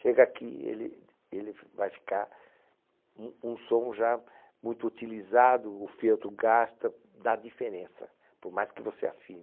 Chega aqui, ele ele v vai ficar um um som já muito utilizado, o feltro gasta, dá diferença, por mais que você afine.